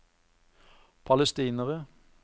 palestinere